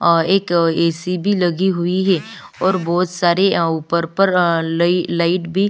और एक ऐसी भी लगी हुई है और बहुत सारे पर्पल लाइट भी--